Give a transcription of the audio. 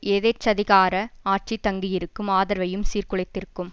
எதேச்சதிகார ஆட்சி தங்கி இருக்கும் ஆதரவையும் சீர்குலைத்திருக்கும்